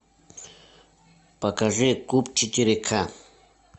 покажи куб четыре ка